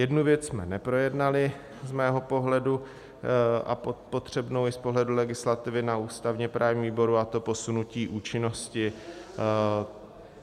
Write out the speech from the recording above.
Jednu věc jsme neprojednali z mého pohledu a potřebnou i z pohledu legislativy na ústavně-právním výboru, a to posunutí účinnosti.